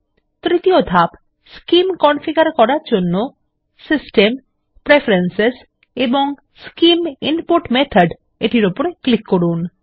তৃতীয় ধাপ scheme configure করার জন্য সিস্টেম প্রেফারেন্স এবং স্কিম ইনপুট মেথড -এটির উপর ক্লিক করুন